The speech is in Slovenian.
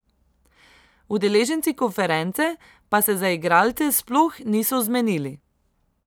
Udeleženci konference pa se za igralce sploh niso zmenili.